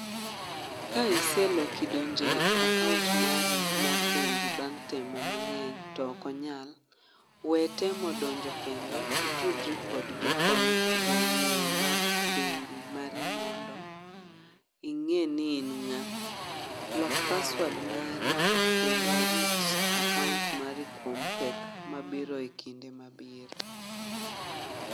Ka iseloki donje akaont mari mar bengi bang' temo mang'eny to okonyal, we temo donjo kendo itudri kod jokony, jonyiewo mag bengi mari mondo ing'e ni in ng'a. Lok paswad mari kendo rit akaont mari kuom pek mabiro e kinde ma biro.